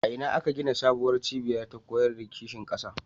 A ina aka gina sabuwar cibiya ta koyar da kishin ƙasa?